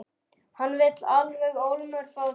Hann vill alveg ólmur fá þig.